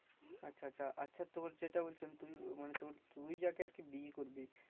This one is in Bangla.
আচ্ছা আচ্ছা আচ্ছা তোর যেটা বলেছিলাম তুই মানে তুই যাকে আর কি বিয়ে করবি